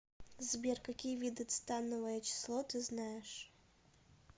сбер какие виды цетановое число ты знаешь